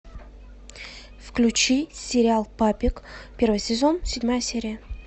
включи сериал папик первый сезон седьмая серия